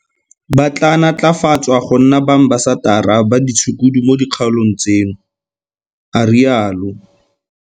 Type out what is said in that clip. Ba tla natlafatswa go nna baambasatara ba ditshukudu mo dikgaolong tseno, a rialo.